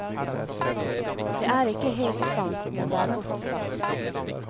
Det er ikke helt sant, men det er godt sagt.